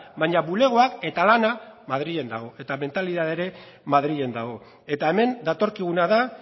baina bulegoak eta lana madrilen dago eta mentalidadea ere madrilen dago eta hemen datorkiguna da